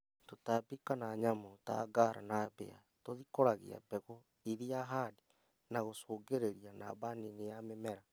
Tũtambi kana nyamũ ta ngara na mbĩa tũthikũragia mbegũ iria handĩ na gũcũngĩrĩria namba nini ya mĩmera